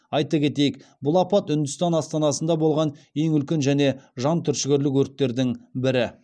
айта кетейік бұл апат үндістан астанасында болған ең үлкен және жан түршігерлік өрттердің бірі